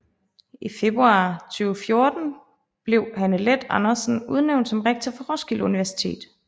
I februar 2014 blev Hanne Leth Andersen udnævnt som rektor for Roskilde Universitet